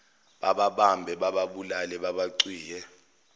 bababambe bababulale babacwiye